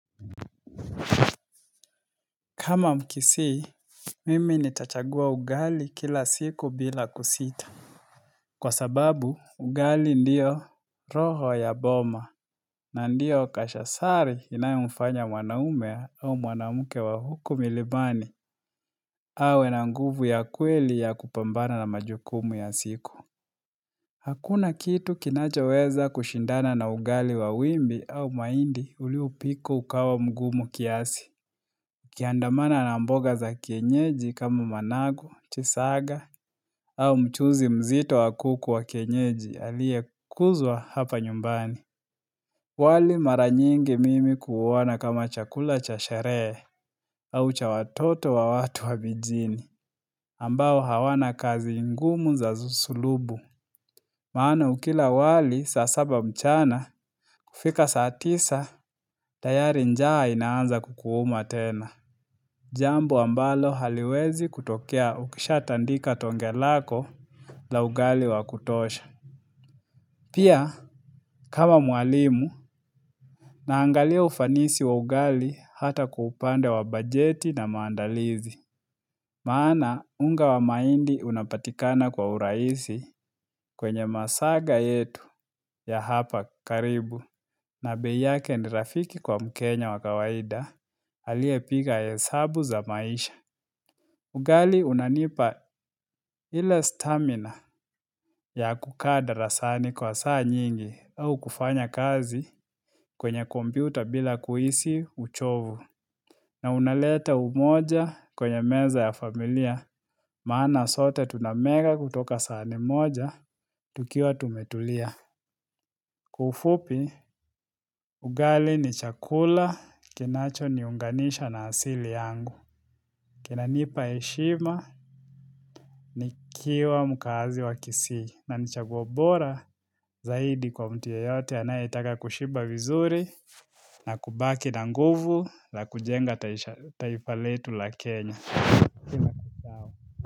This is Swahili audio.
Kama mkisii, mimi nitachagua ugali kila siku bila kusita. Kwa sababu, ugali ndiyo roho ya boma na ndiyo kashasari inayo mfanya mwanaume au mwanamuke wa huku milimani awe na nguvu ya kweli ya kupambana na majukumu ya siku. Hakuna kitu kinachoweza kushindana na ugali wa wimbi au mahindi uliopika ukawa mgumu kiasi. Ikiandamana na mboga za kienyeji kama manago, chisaga, au mchuzi mzito wa kuku wa kienyeji aliye kuzwa hapa nyumbani. Wali mara nyingi mimi kuuona kama chakula cha sherehe, au cha watoto wa watu wa mijini, ambao hawana kazi ngumu za sulubu. Maana ukila wali, sasaba mchana, kufika saatisa, tayari njaha inaanza kukuuma tena. Jambo ambalo haliwezi kutokea ukisha tandika tonge lako la ugali wakutosha. Pia, kama mwalimu, naangalia ufanisi wa ugali hata kwa upande wa bajeti na maandalizi. Maana, unga wa mahindi unapatikana kwa urahisi kwenye masaga yetu ya hapa karibu. Na bei yake ni rafiki kwa mkenya wakawaida, aliye piga hesabu za maisha. Ugali unanipa ile stamina ya kukada saa ni kwa saa nyingi au kufanya kazi kwenye kompyuta bila kuhisi uchovu. Na unaleta umoja kwenye meza ya familia, maana sote tunamega kutoka sahani moja, tukiwa tumetulia. Kwa ufupi, ugali ni chakula kinacho niunganisha na asili yangu. Kinanipa heshima ni kiwa mkazi wa kisii na ni chaguo bora zaidi kwa mtu yoyote anayetaka kushiba vizuri na kubaki na nguvu la kujenga taifa letu la Kenya.